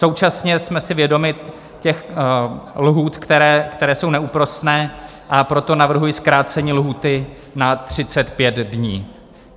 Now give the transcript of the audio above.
Současně jsme si vědomi těch lhůt, které jsou neúprosné, a proto navrhuji zkrácení lhůty na 35 dní.